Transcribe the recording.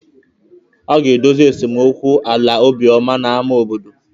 A ga-edozi esemokwu ala Obioma na ámá obodo.